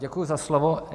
Děkuji za slovo.